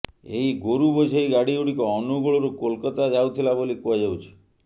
ଏହି ଗୋରୁ ବୋଝେଇ ଗାଡିଗୁଡିକ ଅନୁଗୁଳରୁ କୋଲକାତା ଯାଉଥିଲା ବୋଲି କୁହାଯାଉଛି